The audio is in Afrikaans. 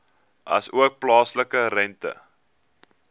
asook plaaslike rente